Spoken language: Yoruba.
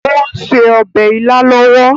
Ó ń se obè ila lọwọ.